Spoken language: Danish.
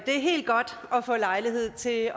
er helt godt at få lejlighed til at